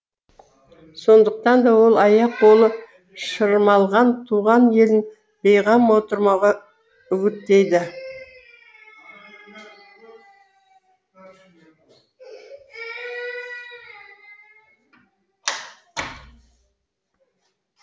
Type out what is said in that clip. сондықтан да ол аяқ қолы шырмалған туған елін бейғам отырмауға үгіттейді